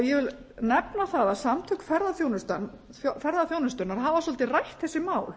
ég vil nefna það að samtök ferðaþjónustunnar hafa svolítið rætt þessi mál